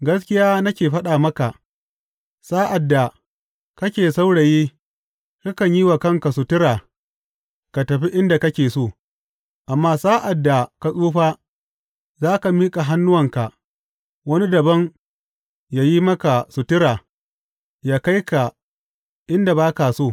Gaskiya nake faɗa maka, sa’ad da kake saurayi kakan yi wa kanka sutura ka tafi inda ka so; amma sa’ad da ka tsufa za ka miƙa hannuwanka, wani dabam yă yi maka sutura yă kai ka inda ba ka so.